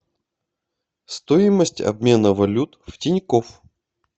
стоимость обмена валют в тинькофф